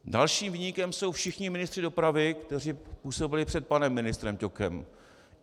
Dalším viníkem jsou všichni ministři dopravy, kteří působili před panem ministrem Ťokem.